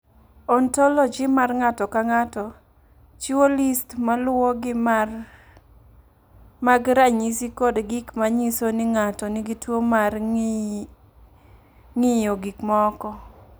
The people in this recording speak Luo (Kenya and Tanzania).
"Ontoloji mar ng’ato ka ng’ato chiwo list ma luwogi mag ranyisi kod gik ma nyiso ni ng’ato nigi tuwo mar ng’iyo gik moko."